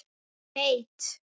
Ég veit.